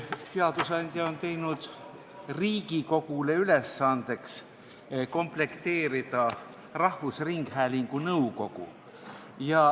Seadusandja on teinud Riigikogule ülesandeks komplekteerida rahvusringhäälingu nõukogu.